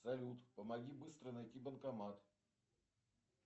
салют помоги быстро найти банкомат